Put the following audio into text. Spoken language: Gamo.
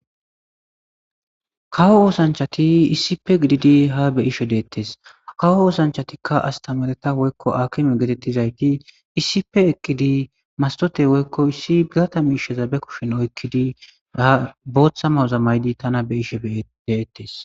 kawo oosanchati iisipe gididi ha be ishe deettes kawo oosanchatikka astamareta woykko akime getettizayti iisipe ekkidi mastote woykko issi bigata mi isheza be kushen oykkidi a booththa maza maydi tana be ishe deettes